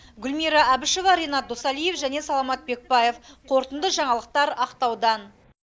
гүлмира әбішева ренат досалиев және саламат бекбаев қорытынды жаңалықтар ақтаудан